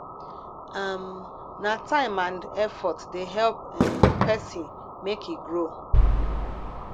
um na time and effort dey help um pesin make e grow